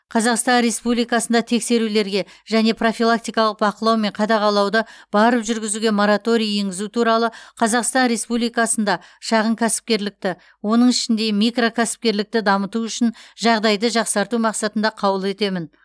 қазақстан республикасында тексерулерге және профилактикалық бақылау мен қадағалауды барып жүргізуге мораторий енгізу туралы қазақстан республикасында шағын кәсіпкерлікті оның ішінде микрокәсіпкерлікті дамыту үшін жағдайды жақсарту мақсатында қаулы етемін